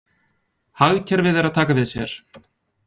Hagkerfið er að taka við sér